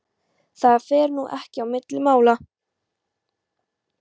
Það fer nú ekki á milli mála